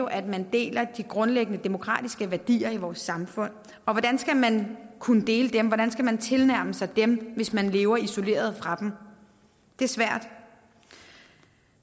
at man deler de grundlæggende demokratiske værdier i vores samfund og hvordan skal man kunne dele dem hvordan skal man tilnærme sig dem hvis man lever isoleret fra dem det er svært